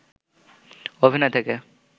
অভিনয় থেকে